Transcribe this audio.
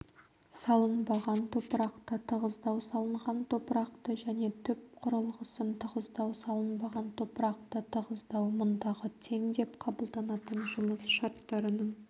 салынбаған топырақты тығыздау салынған топырақты және түп құрылғысын тығыздау салынбаған топырақты тығыздау мұндағы тең деп қабылданатын жұмыс шарттарының